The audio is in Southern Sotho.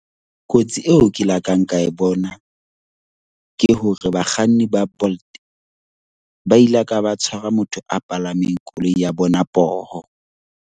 Kotsi eo ke lakang ka e bona ke hore bakganni ba Bolt ba ila ka ba tshwara motho a palameng koloi ya bona poho.